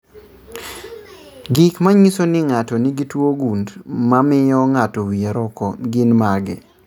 Gik manyiso ni ng'ato nigi tuo gund mamio ng'ato wie roko gin mage?